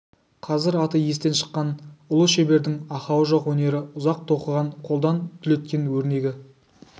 қазір аты естен шыққан ұлы шебердің ақауы жоқ өнері ұзақ тоқыған қолдан түлеткен өрнегі